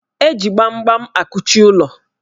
Eji gbamgbam akuchi ụlọ.